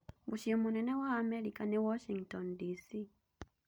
Mũciĩ mũnene wa Amerika nĩ Washington, D.C.